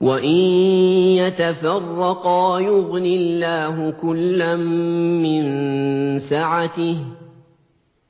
وَإِن يَتَفَرَّقَا يُغْنِ اللَّهُ كُلًّا مِّن سَعَتِهِ ۚ